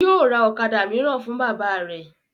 Yóò ra ọ̀kadà mìíràn fún bàbá rẹ̀